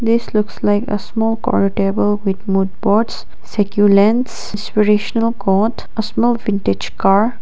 this looks like a small corner table with mud pots secure lens inspirational quote a small vintage car.